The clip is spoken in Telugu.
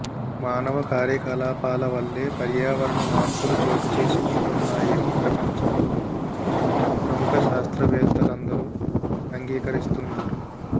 మానవ కార్యకలాపాల వల్లే పర్యావరణ మార్పులు చోటుచేసుకుంటున్నాయని ప్రపంచంలోని ప్రముఖ శాస్త్రవేత్తలందరూ అంగీకరిస్తున్నారు